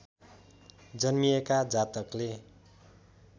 जन्मिएका जातकले